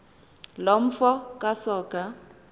loo mfo kasoga